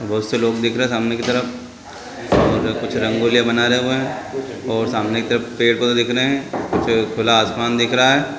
बहोत से लोग दिख रहे है सामने के तरफ। उधर कुछ रंगोलीया बना रहे हुए है। और सामने की तरफ पेड़ पौधे दिख रहे है। पीछे खुला आसमान दिख रहा है।